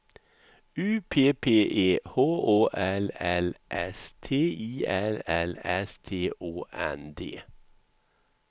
U P P E H Å L L S T I L L S T Å N D